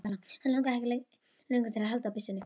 Hann langaði ekki lengur til að halda byssunni.